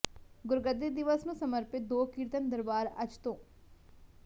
ਗੁਰਗੱਦੀ ਦਿਵਸ ਨੂੰ ਸਮਰਪਿਤ ਦੋ ਕੀਰਤਨ ਦਰਬਾਰ ਅੱਜ ਤੋਂ